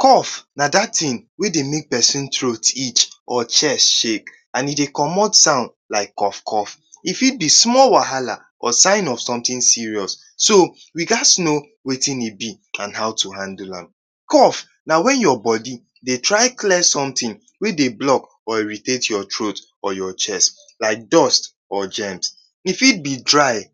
Cough na dat thing wey dey make pesin throat itch or chest shake. And e dey comot sound like cough cough. E fit be small wahala or sign of something serious. So, we gats know wetin e be and how to handle am. Cough na when your body dey try clear something wey dey block or irritate am or your chest. Like dust or germs. E fit be dry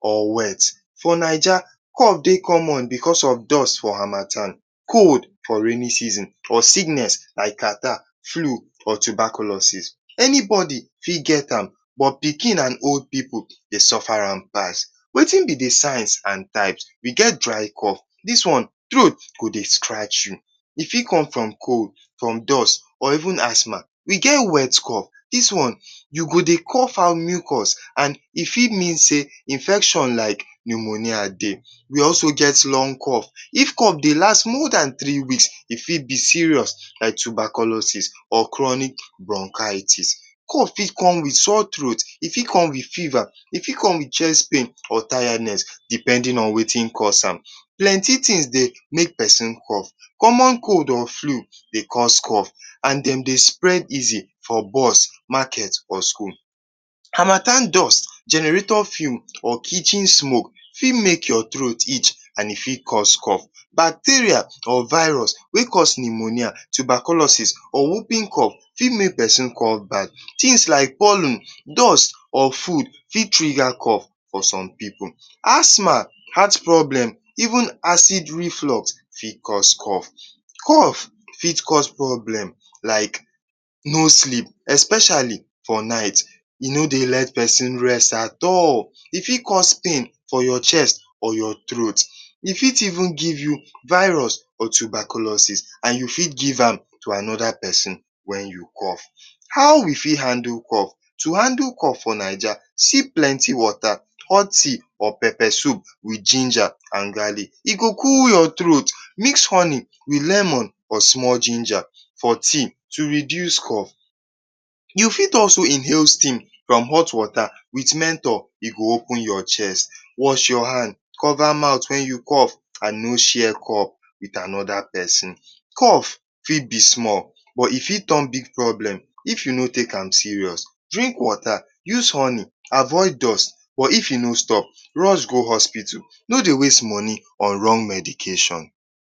or wet. For Naija, cough dey common because of dust for harmattan, cold for rainy season or sickness like catarrh, flu or tuberculosis. Anybody fit get am but pikin and old pipu dey suffer am pass. Wetin be the signs and type? We get dry cough. Dis one, throat go dey scratch you. E fit come from dust or even asthma. We get wet cough. Dis one, you go dey cough out mucus. Dis one e fit mean say infection like pneumonia dey. We also get long cough. If cough dey last more dan three weeks, e fit be serious like tuberculosis or chronic bronchitis. Cough fit come with sore throat, e fit come with fever. E fit come with chest pain or tiredness depending on wetin cause am. Plenty things dey make pesin cough: • Common cold or flu dey cause cough and dem dey spread easily for bus, market or school. • Harmattan dust, generator fume or kitchen smoke fit make your throat itch and e fit cause cough. • Bacteria or virus wey cause pneumonia, tuberculosis or whooping cough fit make pesin cough bad. • Things like, pollen, dust or food fit trigger cough for some pipu. • Asthma, heart problem even acid reflux fit cause cough. Cough fit cause problem like no sleep. Especially for night, e no dey let pesin rest at all. E fit cause pain for your chest or your throat. E fit even give you virus or tuberculosis and you fit give am to another pesin when you cough. How we fit handle cough? To handle cough for Naija: • Sip plenty water, hot tea or pepper soup with ginger and garlic. E go cool your throat. • Mix lemon with honey or small ginger for tea to reduce cough. • You fit also inhale steam from hot water with mento — e go open your chest. • Wash your hand. Cover mouth when you cough and no share cup with another pesin. Cough fit be small but e fit turn big problem if you no take am serious. Drink water, use honey, avoid dust. But if e no stop, rush go hospital. No dey waste money on wrong medication.